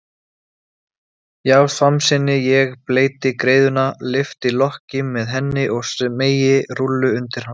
Já, samsinni ég, bleyti greiðuna, lyfti lokki með henni og smeygi rúllu undir hann.